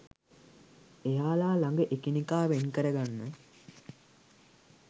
එයාල ළඟ එකිනෙකා වෙන් කර ගන්න